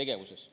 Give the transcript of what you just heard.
tegevuses.